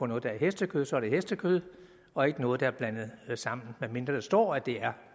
noget der er hestekød så er det hestekød og ikke noget der er blandet sammen medmindre der står at det er